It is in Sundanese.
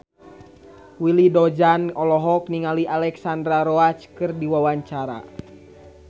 Willy Dozan olohok ningali Alexandra Roach keur diwawancara